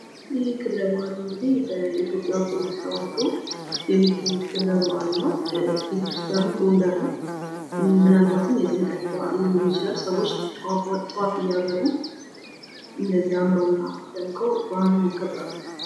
ይህ ክብረ በዓል እንግዲ በኢትዮጵያ ኦርቶዶክስ ተዋሕዶ የሚካሄድ ክብረ በዓል ነው ። ቤተክርስቲያኑም ጎንደር ነው ። ምናልባትም የጥምቀት በዓል ሊሆን ይችላል ። ሰዎች ጧፍ እያበሩ እንደዚህ አምረው እና ደምቀው በአሉን ያከብራሉ።